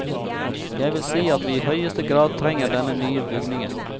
Jeg vil si at vi i høyeste grad trenger denne nye bygningen.